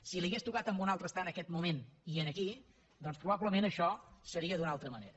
si li hagués tocat a un altre estar en aquest moment i aquí doncs probablement això seria d’una altra manera